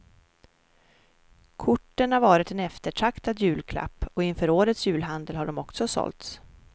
Korten har varit en eftertraktad julklapp och inför årets julhandel har de också sålts.